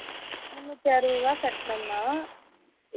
முன்னுத்தி அறுபது ரூபாய் கட்டுனனா